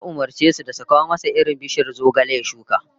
Ya umurce su da su kawo masa irin bishiyar zogale ya shuka